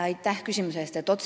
Aitäh küsimuse eest!